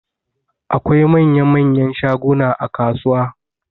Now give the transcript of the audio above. Akwai manya-manyan shaguna a kasuwa.